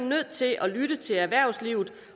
nødt til at lytte til erhvervslivet